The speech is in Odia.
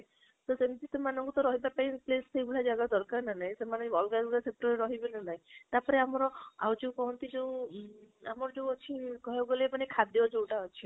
ତ ସେମିତି ସେମାନଙ୍କୁ ରହବା ପାଉଇଁ place ସେଇ ଭଳିଆ ଜାଗା ଦରକାର ନା ନାହିଁ ସେମାନେ ବି ଅଲଗା ଅଲଗା ରେ ରହିବେ ନା ନାହିଁ ତା ପରେ ଆମର ଆଉ ଯୋଉ କହନ୍ତି ଯୋଉ ମ୍ ଆମର ଯୋଉ ଅଛି କହିବାକୁ ଗଲେ ମାନେ ଖାଦ୍ଯ ଯୋଉଟା ଅଛି